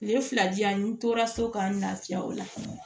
Tile fila di yan n tora so ka n lafiya o la fɔlɔ